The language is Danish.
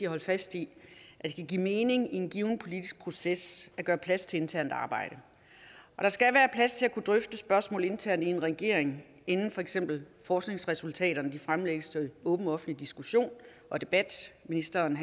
holde fast i at det kan give mening i en given politisk proces at gøre plads til internt arbejde og der skal være plads til at kunne drøfte spørgsmål internt i en regering inden for eksempel forskningsresultaterne fremlægges til åben offentlig diskussion og debat ministeren